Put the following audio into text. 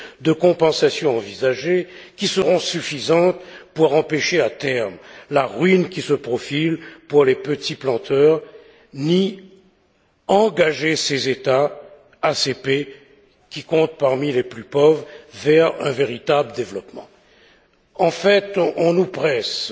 de compensation envisagées qui seront suffisantes pour empêcher à terme la ruine qui se profile pour les petits planteurs, ni pour engager ces États ACP qui comptent parmi les plus pauvres vers un véritable développement. En fait, on nous presse de